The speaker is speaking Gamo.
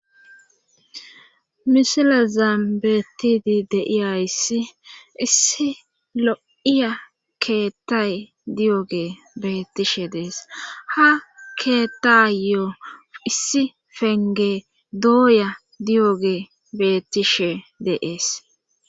misilezan beetidi de i ayssi issi lo7iya keettay diyoge beetishe dees ha keetayo issi penge dooya diyoge bettishe de'es